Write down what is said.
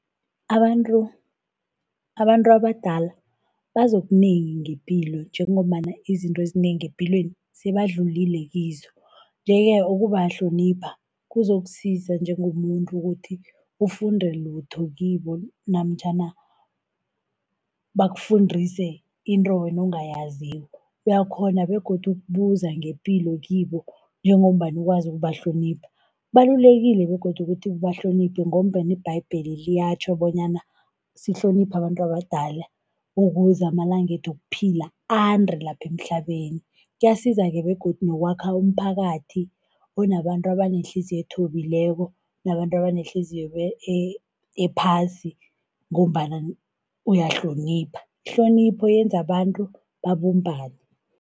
Abantu, abantu abadala bazi okunengi ngepilo, njengombana izinto ezinengi epilweni sebadlulile kizo. Nje-ke ukubahlonipha, kuzokusiza njengomuntu ukuthi ufunde litho kibo, namtjhana bakufundise into wena ongayaziko. Uyakghona begodu ukubuza ngepilo kibo njengombana ukwazi ukubahlonipha. Kubalulekile begodu ukuthi ubahloniphe ngombana iBhayibheli liyatjho bonyana sihloniphe abantu abadala, ukuze amalangethu wokuphila ande lapha emhlabeni. Kuyasiza-ke begodu nokwakha umphakathi onabantu abanehliziyo ethobileko, nabantu abanehliziyo ephasi, ngombana uyahlonipha. Ihlonipho yenza abantu babumbane.